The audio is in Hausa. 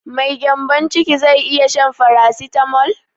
Mai gyanbon ciki zai iya shan farasitamol?